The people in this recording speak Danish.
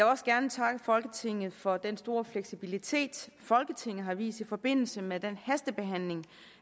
også gerne takke folketinget for den store fleksibilitet folketinget har vist i forbindelse med den hastebehandling